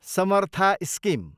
Samartha scheme